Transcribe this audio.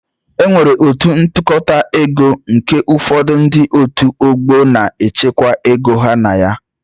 E nwere otu ntụkọta ego nke ụfọdụ ndị otu ọgbọ na-echekwa ego ha na ya